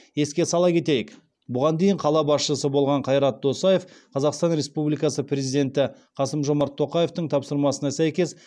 еске сала кетейік бұған дейін қала басшысы болған қайрат досаев қазақстан республикасы президенті қасым жомарт тоқаевтың тапсырмасына сәйкес